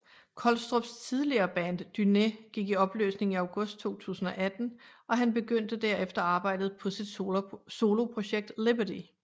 Kolstrups tidligere band Dúné gik i opløsning i August 2018 og han begyndte derefter arbejdet på sit soloprojekt Liberty